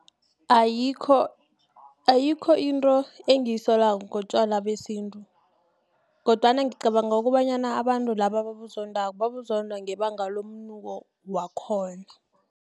Ayikho into engiyisolako ngotjwala besintu, kodwana ngicabanga kobanyana abantu laba ababuzodako, babuzonda ngebanga lomnuko wakhona.